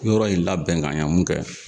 Yɔrɔ in labɛn ka ɲa mun kɛ